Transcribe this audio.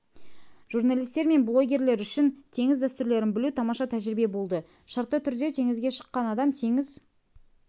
журналистер мен блогерлер үшін теңіз дәстүрлерін білу тамаша тәжірибе болды шартты түрде теңізге шыққан адам теңіз